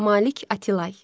Malik Atilay.